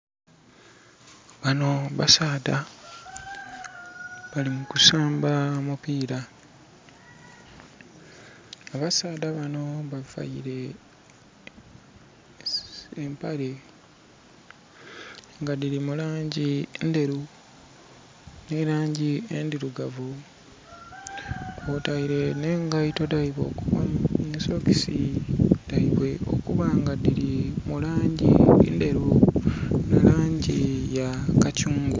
Bano basaadha bali mu kusamba mupira. Abasaadha bano bavaire empale nga dhiri mu langi endheru nhe langi endhirugavu kwotaire nhe ngaito dhaibwe nhe sitokesi dhaibwe okuba nga dhiri mu langi endheru nhe langi ya kakyungwa.